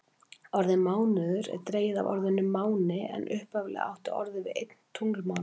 Orðið mánuður er dregið af orðinu máni en upphaflega átti orðið við einn tunglmánuð.